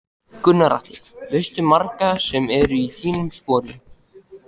Gunnar Atli: Veistu um marga sem eru í þínum sporun?